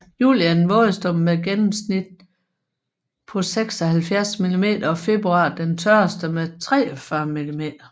Juli er den vådeste med et gennemsnit på 76 millimeter og februar den tørreste med 43 millimeter